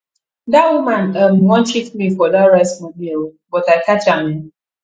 dat woman um wan cheat me for dat rice money um but i catch am um